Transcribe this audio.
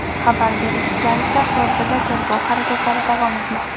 Xabar berishlaricha, hozirda tergov harakatlari davom etmoqda.